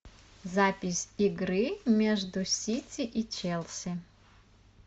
запись игры между сити и челси